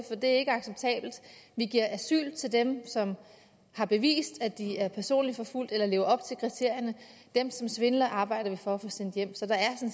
er ikke acceptabelt vi giver asyl til dem som har bevist at de er personligt forfulgt eller lever op til kriterierne dem som svindler arbejder vi for at få sendt hjem så der er